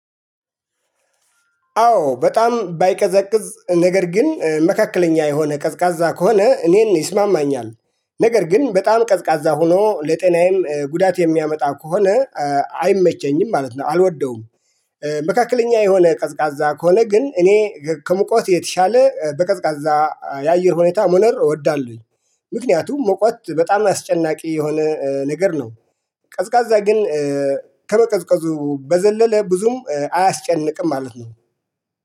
አዎ በጣም ባይቀዘቅዝ ነገር ግን መካከለኛ የሆነ ቀዝቃዛ ከሆነ እኔን ይስማማኛል። ነገር ግን በጣም ቀዝቃዛ ሆኖ ለጤናዬም ጉዳት የሚያመጣ ከሆነ አይመቸኝም ማለት ነው አልወደውም። መካከለኛ የሆነ ቀዝቃዛ ከሆነ ግን እኔ ከሙቀት የተሻለ በቀዝቃዛ የአየር ሁኔታ ሞነር እወዳለሁኝ። ምክንያቱም ሞቋት በጣም አስጨናቂ የሆነ ነገር ነው። ቀዝቃዛ ግን ከመቀዝቀዙ በዘለለ ብዙም አያስጨንቅም ማለት ነው